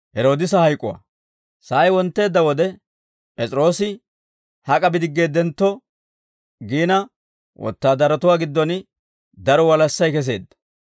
Sa'ay wontteedda wode, P'es'iroosi hak'a bidiggeeddentto giina wotaadaratuwaa giddon daro walassay keseedda.